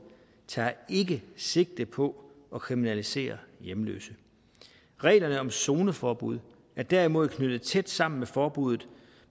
ikke sigte på at kriminalisere hjemløse reglerne om zoneforbud er derimod knyttet tæt sammen med forbuddet